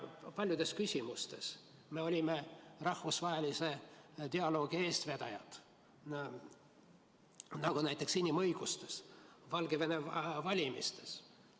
Paljudes küsimustes oleme olnud rahvusvahelise dialoogi eestvedajad, näiteks inimõiguste küsimuses Valgevene valimistel.